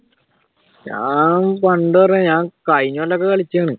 ഞാൻ പണ്ട് ഞാൻ കഴിഞ്ഞകൊല്ലം ഒക്കെ കളിച്ചയാണ്